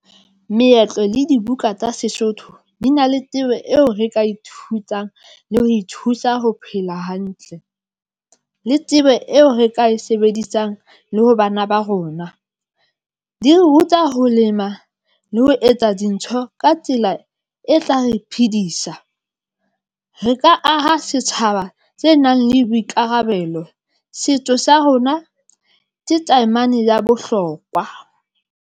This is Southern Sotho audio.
Meetlo le dibuka tsa Sesotho di na le tsebo eo re ka ithutang le ho ithusa ho phela hantle. Le tsebo eo re ka e sebedisang le ho bana ba rona. Di re ruta ho lema le ho etsa dintho ka tsela e tla re phidisa. Re ka aha setjhaba tse nang le boikarabelo. Setso sa rona ke taemane ya bohlokwa.